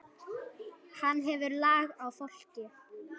Hann hefur lag á fólki.